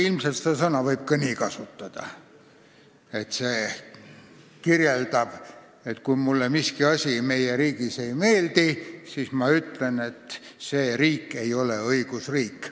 Ilmselt võib seda sõna kasutada ka selle kirjeldamiseks, kui mulle miski meie riigis ei meeldi, st siis ma ütlen, et see riik ei ole õigusriik.